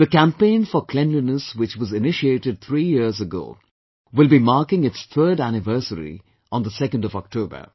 The campaign for Cleanliness which was initiated three years ago will be marking its third anniversary on the 2nd of October